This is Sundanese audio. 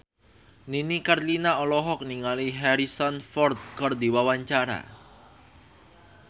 Nini Carlina olohok ningali Harrison Ford keur diwawancara